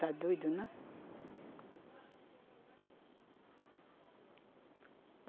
Tá doido, né?